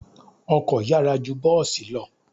Ọkọ̀ yára ju bọ́ọ̀sì lọ.